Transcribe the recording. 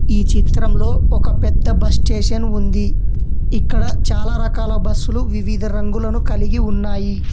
ఈ చిత్రంలో ఒక పెద్ద బస్ స్టేషన్ ఉంది ఇక్కడ చాలా రకాల బస్ లు వివిధ రంగులను కలిగి ఉన్నాయి.